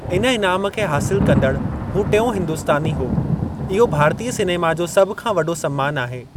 इन इनाम खे हासिल कंदड़ु हू टियों हिंदुस्तानी हो, इहो भारतीअ सिनेमा जो सभ खां वॾो सम्मानु आहे।